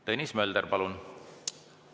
Tõnis Mölder, palun!